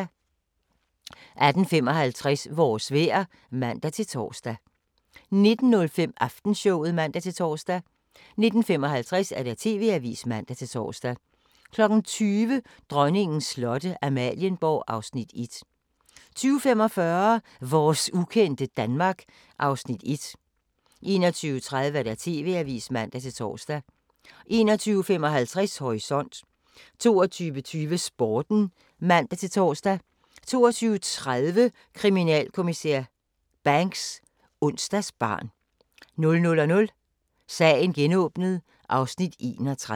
18:55: Vores vejr (man-tor) 19:05: Aftenshowet (man-tor) 19:55: TV-avisen (man-tor) 20:00: Dronningens slotte – Amalienborg (Afs. 1) 20:45: Vores ukendte Danmark (Afs. 1) 21:30: TV-avisen (man-tor) 21:55: Horisont 22:20: Sporten (man-tor) 22:30: Kriminalinspektør Banks: Onsdagsbarn 00:00: Sagen genåbnet (Afs. 31)